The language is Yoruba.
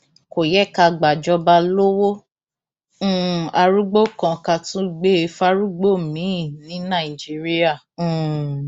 kò yẹ ká gbàjọba lowó um arúgbó kan ká tún gbé e fárúgbó miín ní nàìjíríà um